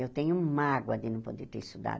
Eu tenho mágoa de não poder ter estudado.